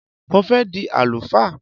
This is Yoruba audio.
Mo fẹ́ di àlùfáà